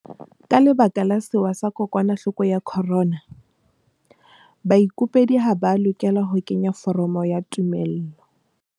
Ka lebaka la sewa sa kokwanahloko ya corona, baikopedi ha ba a lokela ho kenya foromo ya tumello.